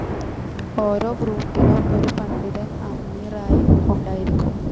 ഓരോ ഗ്രൂപ്പിനും ഒരു പണ്ഡിതൻ അമീറായി ഉണ്ടായിരിക്കും.